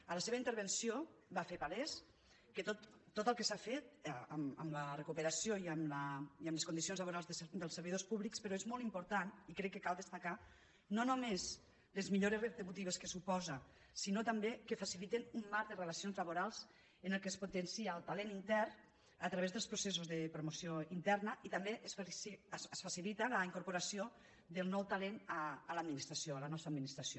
a la seva intervenció va fer palès que tot el que s’ha fet en la recuperació i en les condicions laborals dels servidors públics però és molt important i crec que cal destacar no només les millores retributives que suposa sinó també que faciliten un marc de relacions laborals en el qual es potencia el talent intern a través dels processos de promoció interna i també es facilita la incorporació del nou talent a l’administració a la nostra administració